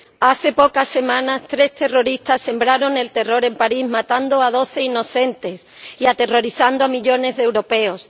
Hace pocas semanas tres terroristas sembraron el terror en París matando a doce inocentes y aterrorizando a millones de europeos.